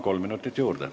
Kolm minutit juurde.